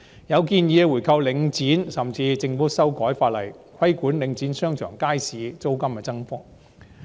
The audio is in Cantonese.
有建議提出回購領展，甚至建議政府修改法例，規管領展商場和街市租金的增幅。